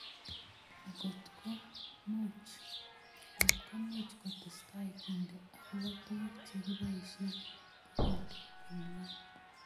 Ngotko much kotestab kende akopo tuguk che kiboisie kokindei komnye